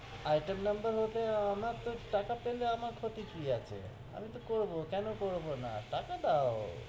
Item নম্বর হতে, আমার তো, টাকা পেলে আমার ক্ষতি কি আছে? আমি তহ করব কেন করব না? টাকা দাও,